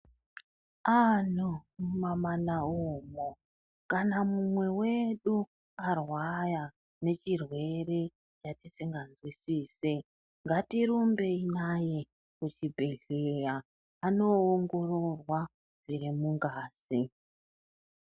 Antu mumamana umwo kana mumwe wedu arwara nechirwere chatisingazwisisi, ngatirumbei naye kuchibhedhleya anoongororwa zviri mungazi.